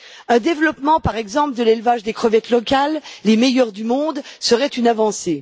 Un développement, par exemple, de l'élevage des crevettes locales les meilleures au monde serait une avancée.